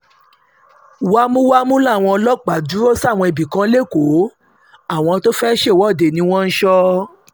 wámúwámù làwọn ọlọ́pàá dúró sáwọn ibì kan lẹ́kọ̀ọ́ àwọn tó fẹ́ẹ́ ṣèwọ́de ni wọ́n ń sọ